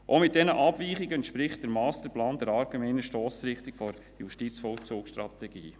Auch mit diesen Abweichungen entspricht der Masterplan der allgemeinen Stossrichtung der JVS.